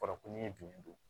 Kɔrɔ ko n'i ye dunni don